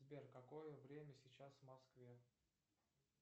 сбер какое время сейчас в москве